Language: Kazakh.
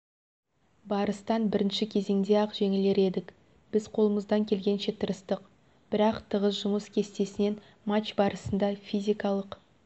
барыстан бірінші кезеңде ақжеңділер едік біз қолымыздан келгенше тырыстық бірақ тығыз жұмыс кестесінен матч барысында физикалық